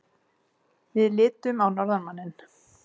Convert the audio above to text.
Við litum á norðanmanninn.